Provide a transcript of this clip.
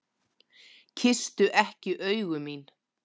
Kysstu ekki augu mín.